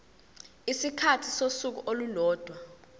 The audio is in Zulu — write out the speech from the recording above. isikhathi sosuku olulodwa